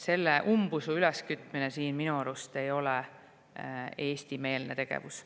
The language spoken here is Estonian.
Siin umbusu üleskütmine ei ole minu arust Eesti-meelne tegevus.